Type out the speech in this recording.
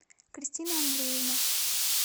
кристина андреевна